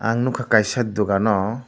ang nogka kaisa dogan o.